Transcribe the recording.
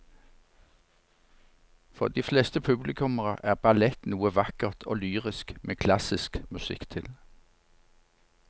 For de fleste publikummere er ballett noe vakkert og lyrisk med klassisk musikk til.